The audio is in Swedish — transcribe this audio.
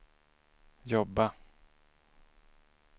jobba